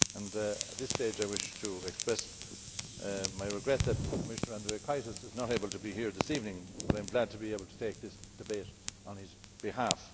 At this stage, I wish to express my regret that Commissioner Andriukaitis is not able to be here this evening, but I am glad to be able to take this debate on his behalf.